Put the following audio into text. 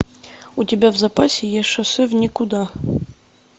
у тебя в запасе есть шоссе в никуда